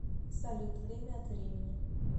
салют время от времени